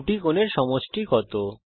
দুটি কোণের সমষ্টি কত